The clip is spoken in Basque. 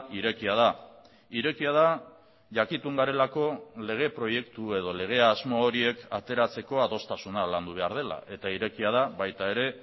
irekia da irekia da jakitun garelako lege proiektu edo lege asmo horiek ateratzeko adostasuna landu behar dela eta irekia da baita ere